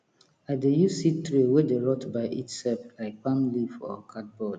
i dey use seed tray wey dey rot by itself like palm leaf or cardboard